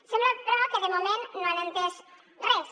sembla però que de moment no han entès res